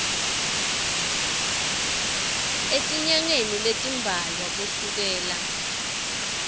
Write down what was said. etinyangeni letimbalwa kusukela